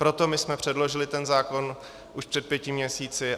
Proto my jsme předložili ten zákon už před pěti měsíci.